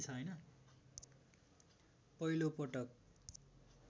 पहिलो पटक